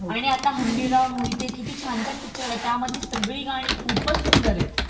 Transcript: आता हंबीरराव मोहिते किती छान छान पिक्चर आलाय, त्यामधिल सगळी गाणी खूपचं सुंदर आहेत आहेत